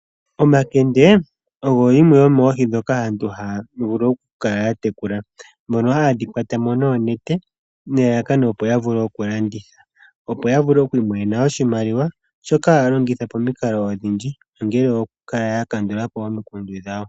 Omakende ogo yimwe yomoohi ndhoka aantu haa vulu oku mkala ya tekula mono haye dhi kwata mo noonete, nelalakano opo ya vule okulanditha opo ya vule okwi imonena oshimaliwa shoka haa longitha pomikalo odhindji ongele okukala ya kandula po omikundu dhawo.